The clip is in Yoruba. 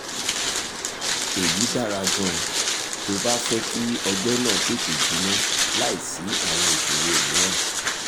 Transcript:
èyí dára gan-an tó o bá fẹ́ kí ọgbẹ́ náà tètè jinná láìsí àwọn ìṣòro mìíràn